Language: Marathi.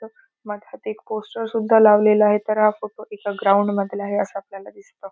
मधात एक कोस्टर सुद्धा लावलेल आहे तर हा फोटो एका ग्राउंड मधला आहे अस आपल्याला दिसतं.